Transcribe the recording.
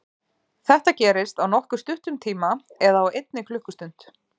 Þetta gerist á nokkuð stuttum tíma eða á einni klukkustund.